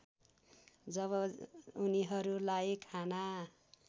जब उनिहरूलाई खाना